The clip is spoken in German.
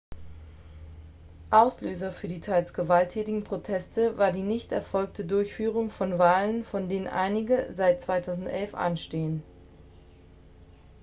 auslöser für die teils gewalttätigen proteste war die nicht erfolgte durchführung von wahlen von denen einige seit 2011 anstehen